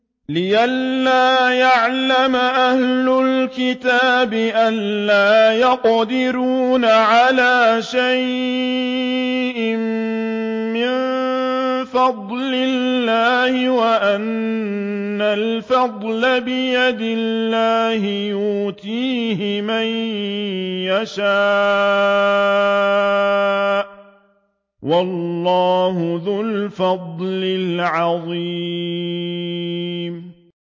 لِّئَلَّا يَعْلَمَ أَهْلُ الْكِتَابِ أَلَّا يَقْدِرُونَ عَلَىٰ شَيْءٍ مِّن فَضْلِ اللَّهِ ۙ وَأَنَّ الْفَضْلَ بِيَدِ اللَّهِ يُؤْتِيهِ مَن يَشَاءُ ۚ وَاللَّهُ ذُو الْفَضْلِ الْعَظِيمِ